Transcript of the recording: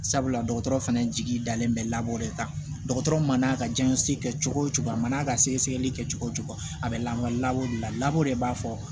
Sabula dɔgɔtɔrɔ fɛnɛ jigi dalen bɛ laban de kan dɔgɔtɔrɔ man n'a ka jiɲɛso kɛ cogo o cogo a man n'a ka sɛgɛsɛgɛli kɛ cogo o cogo a bɛ lawa lakori lago de b'a fɔ